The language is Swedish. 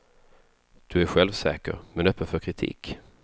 Du är självsäker, men öppen för kritik.